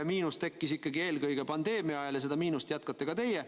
Miinus tekkis ikkagi eelkõige pandeemia ajal ja seda miinust tekitate ka teie.